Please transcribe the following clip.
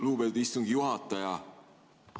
Lugupeetud istungi juhataja!